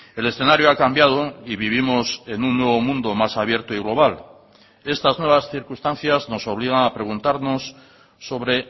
el escenario ha cambiado y vivimos en un nuevo mundo más abierto y global estas nuevas circunstancias nos obligan a preguntarnos sobre